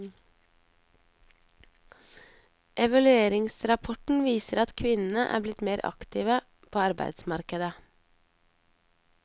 Evalueringsrapporten viser at kvinnene er blitt mer aktive på arbeidsmarkedet.